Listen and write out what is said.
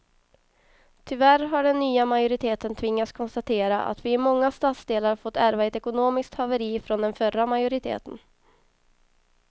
Tyvärr har den nya majoriteten tvingats konstatera att vi i många stadsdelar fått ärva ett ekonomiskt haveri från den förra majoriteten.